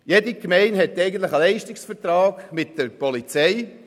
Jede Gemeinde hat einen Leistungsvertrag mit der Polizei.